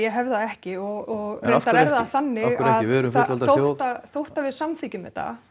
hef það ekki og reyndar er það þannig en af hverju ekki við erum fullvalda þjóð þótt að við samþykkjum þetta